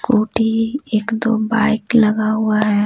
Scooty एक दो bike लगा हुआ है।